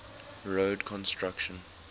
road construction